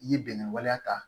I ye bɛnɛ waleya ta